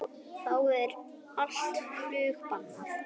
Þá er allt flug bannað